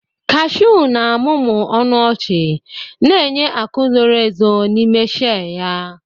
Kashuu na-amụmụ ọnụ ọchị, na-enye akụ zoro ezo n'ime shei ya.